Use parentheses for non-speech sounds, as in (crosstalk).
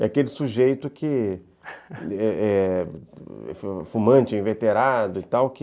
É aquele sujeito que (laughs) é fumante, inveterado e tal, que...